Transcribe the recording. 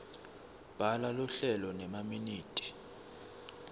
bhala luhlelo nemaminithi